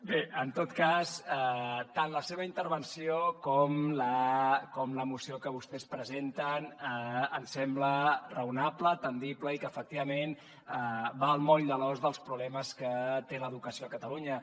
bé en tot cas tant la seva intervenció com la moció que vostès presenten ens sembla raonable atendible i que efectivament va al moll de l’os dels problemes que té l’educació a catalunya